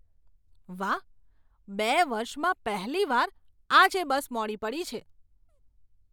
વાહ, બે વર્ષમાં પહેલી વાર આજે બસ મોડી પડી છે.